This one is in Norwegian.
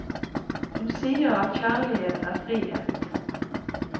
Hun sier at kjærlighet er frihet.